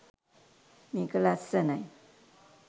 මේක ලස්සනයි